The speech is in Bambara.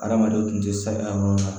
Adamadenw tun tɛ sɛgɛn yɔrɔ ye